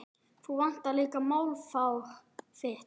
Þú vandar líka málfar þitt.